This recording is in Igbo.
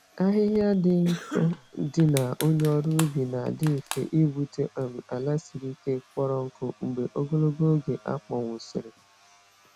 Ahịhịa dị nkọ dị na onye ọrụ ubi na-adị mfe igbutu um ala siri ike, kpọrọ nkụ mgbe ogologo oge akpọnwụsịrị.